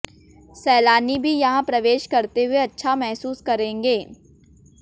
सैलानी भी यहां प्रवेश करते हुए अच्छा महसूस करेंगे